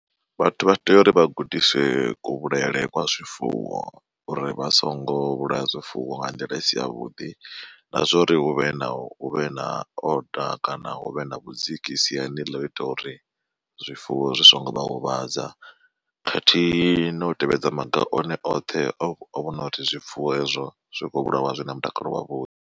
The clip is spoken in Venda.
Vhathu vha tea uri vha gudiswe kuvhulaele kwa zwifuwo uri vha songo vhulaya zwifuwo nga nḓila isi ya vhuḓi, na zwa uri huvhe na huvhe na oda kana hu vhe na vhudziki siani ḽa ita uri zwifuwo zwi songo vha huvhadza. Khathihi na u tevhedza maga one oṱhe o vhona uri zwifuwo hezwo zwi kho vhulawa zwi na mutakalo wavhuḓi.